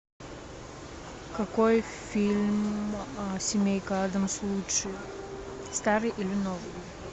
какой фильм семейка адамс лучше старый или новый